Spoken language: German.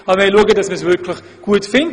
Wir wollen, dass man es wirklich gut findet.